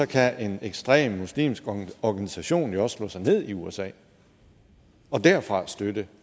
kan en ekstrem muslimsk organisation jo også slå sig ned i usa og derfra støtte